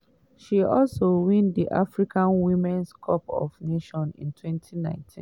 she also win di africa women's cup of nations for 2019.